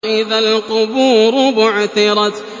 وَإِذَا الْقُبُورُ بُعْثِرَتْ